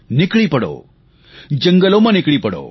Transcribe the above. નીકળી પડો જંગલોમાં નીકળી પડો